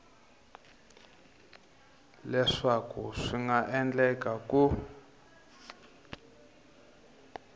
leswaku swi nga endleka ku